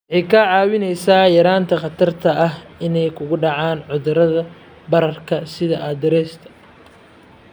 Waxay kaa caawinaysaa yaraynta khatarta ah inay ku dhacaan cudurrada bararka sida arthritis-ka.